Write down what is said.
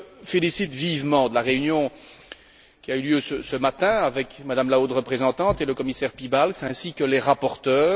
Je me félicite vivement de la réunion qui a eu lieu ce matin avec Mme la haute représentante et le commissaire Piebalgs ainsi que les rapporteurs.